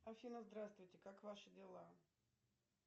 афина здравствуйте как ваши дела